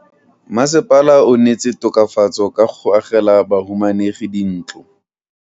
Mmasepala o neetse tokafatso ka go agela bahumanegi dintlo.